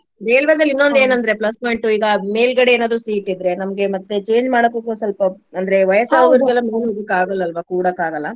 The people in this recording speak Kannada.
ರೇಲ್ವೆದಲ್ಲಿ ಏನ್ ಅಂದ್ರೆ plus point ಉ ಈಗಾ ಮೇಲ್ಗಡೆ ಏನಾದ್ರು seat ಇದ್ರೆ ನಮ್ಗೆ ಮತ್ತೆ change ಮಾಡೋದಕ್ಕು ಸ್ವಲ್ಪ ಅಂದ್ರೆ ಮೇಲ್ ಹೋಗ್ಲಿಕ್ಕೆ ಆಗಲ್ಲಾ ಅಲ್ವಾ ಕೂಡಾಕ್ ಆಗಲ್ಲಾ.